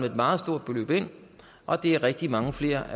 et meget stort beløb ind og det er rigtig mange flere